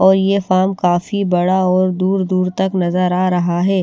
और यह फार्म काफी बड़ा और दूर- दूर तक नजर आ रहा है।